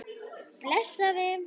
Bless afi.